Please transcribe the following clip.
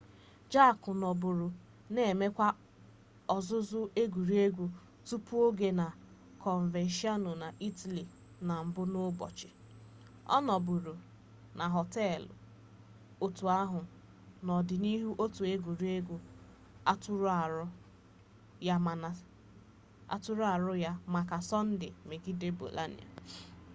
jarque nọbụrụ na-emewa ọzụzụ egwuregwu tupu-oge na coverciano na itali na mbụ n'ụbọchị ọ nọbụrụ na họteelụ otu ahụ n'ọdịnihu otu egwuregwu atụrụ arọ ya maka sọnde megide bolonia